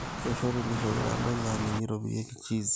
keishoru nkishu olarampai laa ninye eitobirieki cheese